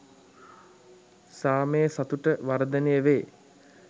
සාමය සතුට වර්ධනය වේ.